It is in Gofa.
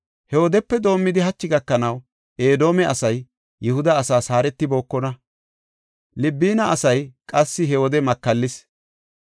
He wodepe doomidi hachi gakanaw, Edoome asay Yihuda asaas haaretibookona. Libina asay qassi he wode makallis.